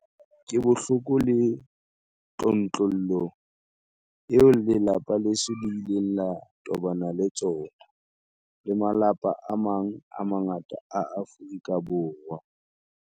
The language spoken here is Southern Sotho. Ke bohloko le tlontlollo eo lelapa leso le ileng la tobana le tsona, le malapa a mang a mangata a Afrika Borwa.